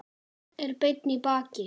Er beinn í baki.